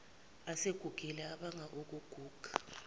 asegugile abanga ukuguga